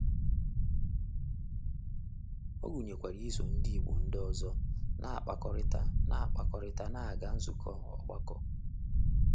Ọ gụnyekwara iso ndị Igbo ndị ọzọ na-akpakọrịta na-akpakọrịta na ịga nzukọ ọgbakọ.